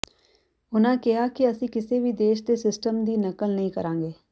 ਉਨ੍ਹਾਂ ਕਿਹਾ ਕਿ ਅਸੀਂ ਕਿਸੇ ਵੀ ਦੇਸ਼ ਦੇ ਸਿਸਟਮ ਦੀ ਨਕਲ ਨਹੀਂ ਕਰਾਂਗੇ